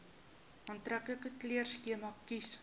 aantreklike kleurskema kies